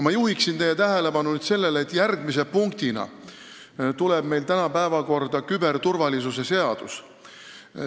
Ma juhin teie tähelepanu sellele, et järgmise punktina tuleb meil kõne alla küberturvalisuse seadus.